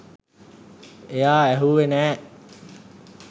එයා ඇහුවෙ නෑ